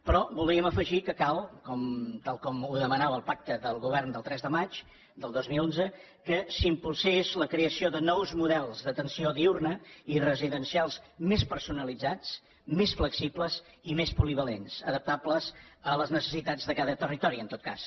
però voldríem afegir que cal tal com demanava el pacte del govern del tres de maig del dos mil onze que s’impulsi la creació de nous models d’atenció diürna i residencials més personalitzats més flexibles i més polivalents adaptables a les necessitats de cada territori en tot cas